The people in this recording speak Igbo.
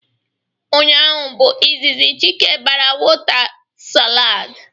Ụnyaahụ bụ izizi Chike bara wota slaidi